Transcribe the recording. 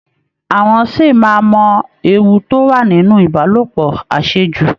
Àwọn ṣì máa mọ ewu tó wà nínú Ìbálòpọ̀ àṣejù